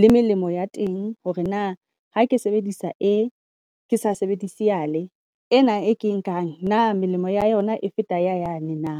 le melemo ya teng, hore na ha ke sebedisa ee ke sa sebedise yale ena e ke e nkang na melemo ya yona e feta ya yane na.